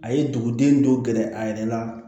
A ye duguden dɔ gɛrɛ a yɛrɛ la